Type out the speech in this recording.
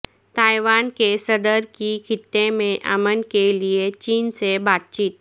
Taiwan کے صدر کی خطے میں امن کے لئے چین سے بات چیت